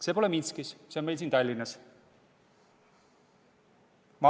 See ei juhtunud Minskis, see juhtus meil siin Tallinnas.